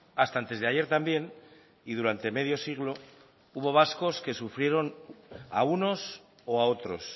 hasta antes de ayer también y durante medio siglo hubo vascos que sufrieron a unos o a otros